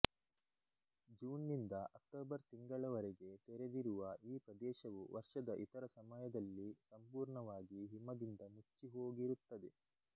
June ನಿಂದ October ತಿಂಗಳವರೆಗೆ ತೆರೆದಿರುವ ಈ ಪ್ರದೇಶವು ವರ್ಷದ ಇತರ ಸಮಯದಲ್ಲಿ ಸಂಪೂರ್ಣವಾಗಿ ಹಿಮದಿಂದ ಮುಚ್ಚಿಹೋಗಿರುತ್ತದೆ